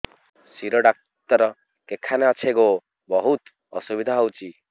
ଶିର doctor କେଖାନେ ଅଛେ ଗୋ ବହୁତ୍ ଅସୁବିଧା ହଉଚି